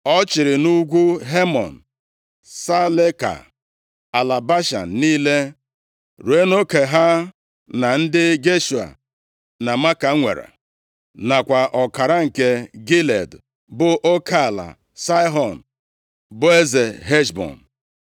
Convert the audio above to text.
Ọ chịrị nʼugwu Hemon, Saleka, ala Bashan niile ruo nʼoke ha na ndị Geshua na Maaka nwere, nakwa ọkara nke Gilead, bụ oke ala Saịhọn, bụ eze Heshbọn.